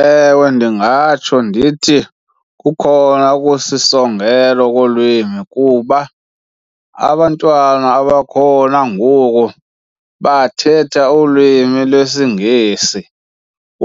Ewe, ndingatsho ndithi kukhona okusisongelo kolwimi kuba abantwana abakhona ngoku bathetha ulwimi lwesiNgesi,